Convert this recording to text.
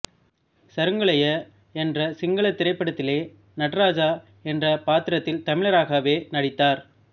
சருங்கலய என்ற சிங்களத் திரைப்படத்திலே நடராஜா என்ற பாத்திரத்தில் தமிழராகவே நடித்தார்